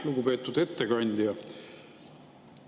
Lugupeetud ettekandja!